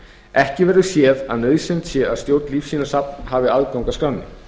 ekki verður séð að nauðsynlegt sé að stjórn lífsýnasafns hafi aðgang að skránni